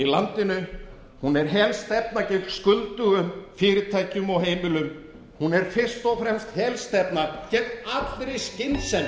landinu hún er helstefna gegn skuldugum fyrirtækjum og heimilum hún er fyrst og fremst helstefna gegn allri skynsemi